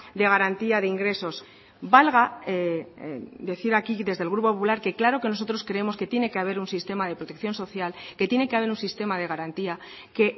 de garantía de ingresos valga decir aquí desde el grupo popular que claro que nosotros creemos que tiene que haber un sistema de protección social que tiene que haber un sistema de garantía que